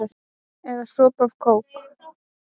Eða sopa af kók?